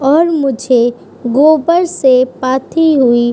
और मुझे गोब्बर से पाथी हुई --